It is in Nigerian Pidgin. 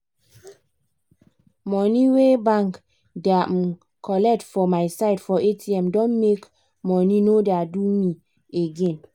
money wey bank da um colet for myside for atm don make money no da do me again